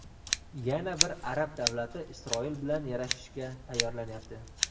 Yana bir arab davlati Isroil bilan yarashishga tayyorlanyapti.